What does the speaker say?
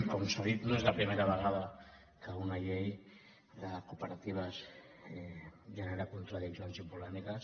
com s’ha dit no és la primera vegada que una llei de cooperatives genera contradiccions i polèmiques